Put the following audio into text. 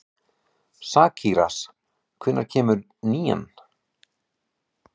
Sakarías, hvenær kemur nían?